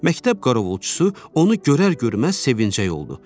Məktəb qarovulçusu onu görər-görməz sevinəcək oldu.